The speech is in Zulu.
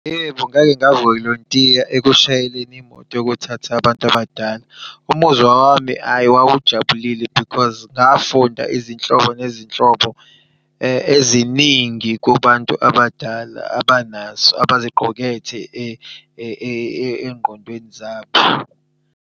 Yebo, ngake ngavolontiya ekushayeleni imoto yokuthatha abantu abadala. Umuzwa wami, hhayi wawujabulile because ngafunda izinhlobo nezinhlobo eziningi kubantu abadala abanazo abaziqukethe engqondweni zabo.